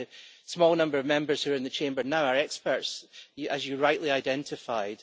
In fact, the small number of Members here in the Chamber now are experts, as you as you rightly identified.